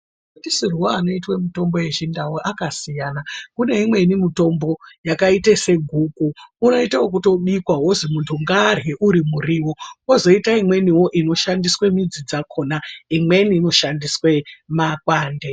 Ndisirwe anoite mitombo yechindau akasiyana kune imweni mitombo yakaite seguku unoite ekutobikwa wozi muntu ngaarye uri muriwo kwozoite imweniwo inoshandiswe midzi dzakhona imweni inoshandiswe makwande.